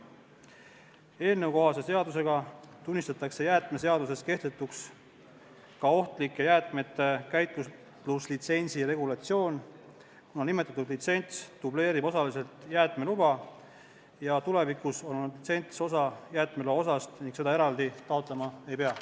Eelnõukohase seadusega tunnistatakse jäätmeseaduses kehtetuks ka ohtlike jäätmete käitluslitsentsi regulatsioon, kuna nimetatud litsents dubleerib osaliselt jäätmeluba, tulevikus on litsents osa jäätmeloast ning seda eraldi taotlema ei pea.